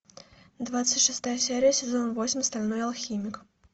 двадцать шестая серия сезона восемь стальной алхимик